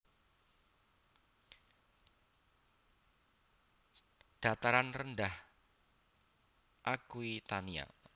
Dataran rendah Aquitania